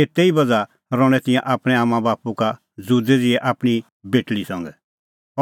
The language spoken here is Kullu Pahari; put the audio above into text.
एते ई बज़्हा रहणैं तिंयां आपणैं आम्मांबाप्पू का ज़ुदै ज़िहै आपणीं बेटल़ी संघै